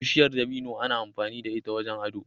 Bishiyar dabino ana amfani da ita wajen ado.